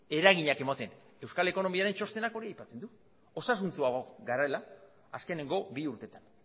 eraginak ematen euskal ekonomiaren txostenak hori aipatzen du osasuntsuago garela azkeneko bi urteetan